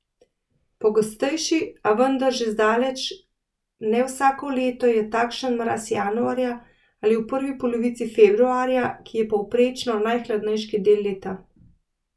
Pogostejši, a vendar še zdaleč ne vsako leto, je takšen mraz januarja ali v prvi polovici februarja, ki je povprečno najhladnejši del leta.